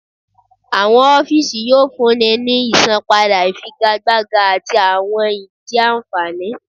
Awọn ọfiisi yoo funni ni isanpada ifigagbaga ati awọn idii anfani.